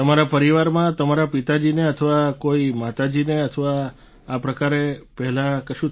તમારા પરિવારમાં તમારા પિતાજીને અથવા કોઈ માતાજીને અથવા આ પ્રકારે પહેલા થયું છે